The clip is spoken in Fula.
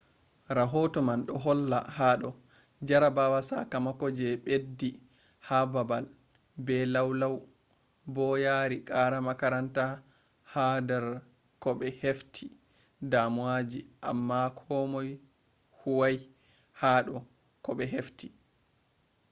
rahoto man do holla hado jarabawa sakamako je beddi ha babal be lau lau bo yari qara makaranta ha dar kobe hefti damuwaji amma be huwai hado koh be hefti